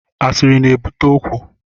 Asiri na-ebute okwu